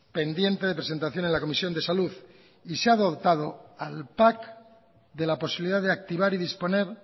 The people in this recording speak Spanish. pendiente de presentación en la comisión de salud y se ha adoptado al pac de la posibilidad de activar y disponer